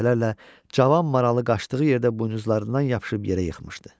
Dəfələrlə cavan maralı qaçdığı yerdə buynuzlarından yapışıb yerə yıxmışdı.